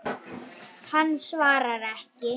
Hann svarar ekki.